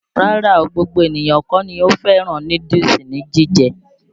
Rárá o, gbogbo ènìyàn kọ́ ni ò fẹ́ràn núdúùsù ni jíje.